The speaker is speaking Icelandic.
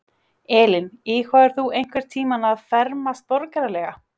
Elín: Íhugaðir þú einhvern tímann að fermast borgaralega?